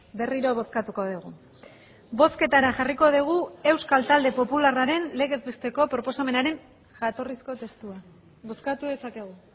berriro bozkatuko dugu bozketara jarriko dugu euskal talde popularraren legez besteko proposamenaren jatorrizko testua bozkatu dezakegu